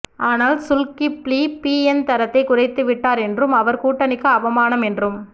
ஆனால் Zulkifli BN தரத்தைக் குறைத்து விட்டார் என்றும் அவர் கூட்டணிக்கு அவமானம் என்றும்